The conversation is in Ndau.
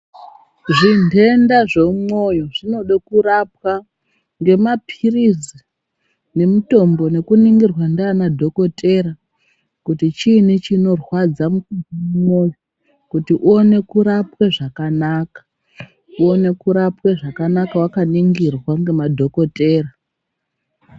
Zvinhenda zvemumwoyo zvinode kurapwa ngemaphirizi nemutombo nekuningirwa ndiana dhokotera kuti chini chinorwadza mumwoyo kuti uone kurapwe zvakanaka. Uone kurapwa zvakanaka wakaningirwa ngema dhokotera.